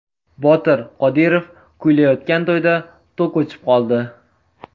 Botir Qodirov kuylayotgan to‘yda tok o‘chib qoldi.